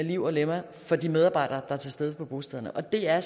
liv og lemmer for de medarbejdere er til stede på bostederne og det er